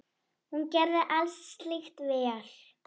Hún gerði allt slíkt vel.